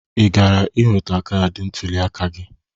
Ị gara iweta kaadị ntụliaka gị?